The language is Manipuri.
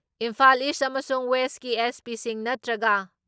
ꯏꯝꯐꯥꯜ ꯏꯁ ꯑꯃꯁꯨꯡ ꯋꯦꯁꯀꯤ ꯑꯦꯁ.ꯄꯤꯁꯤꯡ ꯅꯠꯇ꯭ꯔꯒ